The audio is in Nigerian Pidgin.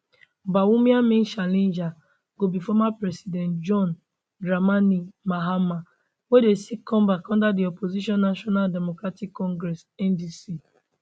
bawumia main challenger go be former president john dramani mahama wey dey seek comeback under di opposition national democratic congress ndc